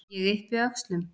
Ég yppi öxlum.